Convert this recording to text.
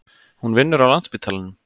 Hún vinnur á Landspítalanum.